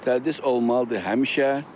Təhsil olmalıdır həmişə.